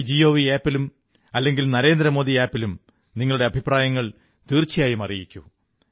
my gov ആപ്പിൽ അല്ലെങ്കിൽ നരേന്ദ്രമോദി ആപ്പിൽ നിങ്ങളുടെ അഭിപ്രായങ്ങൾ തീർച്ചയായും അറിയിക്കൂ